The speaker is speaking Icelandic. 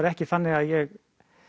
ekki þannig að ég